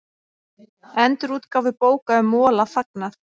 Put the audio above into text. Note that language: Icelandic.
Endurútgáfu bóka um Mola fagnað